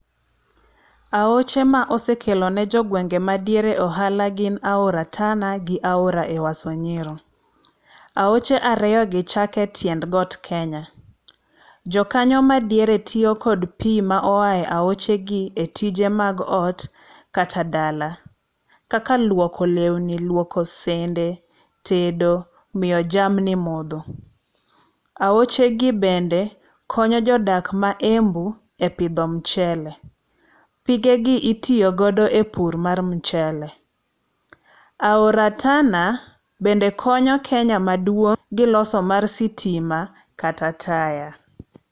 Aoche ma osekelo ne jogwenge madiere ohala gin aora Tana gi aora Ewaso Nyiro. Aoche ariyogi chako e tiend got Kenya. Jo kanyo madiere tiyo kod pi moa e aochegi e tije mag ot, kata dala. Kaka luoko lewni, luoko sende tedo, miyo jamni modho. Aochegi bende konyo jodak ma Embu e pidho mchele. Pigegi itiyo godo e pur mar mchele. Aora Tana bende konyo Kenya maduong' gi loso mar sitima kata taya.